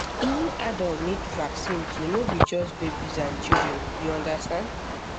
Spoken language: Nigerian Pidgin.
even adult need vaccine too no be just babies and children you understand